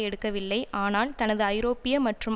எடுக்கவில்லை ஆனால் தனது ஐரோப்பிய மற்றும்